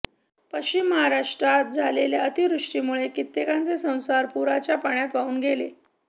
पश्चिम महाराष्ट्रात झालेल्या अतिवृष्टीमुळे कित्येकांचे संसार पुराच्या पाण्यात वाहून गेले